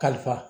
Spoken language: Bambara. Kalifa